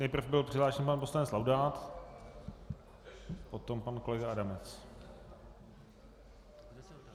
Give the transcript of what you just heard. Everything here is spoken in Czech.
Nejprve byl přihlášen pan poslanec Laudát, potom pan kolega Adamec.